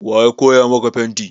Wa ya koya maka fenti?